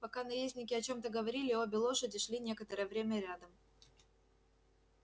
пока наездники о чем-то говорили обе лошади шли некоторое время рядом